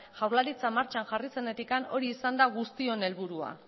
jaurlaritza martxan jarri zenetik hori izan da guztion helburua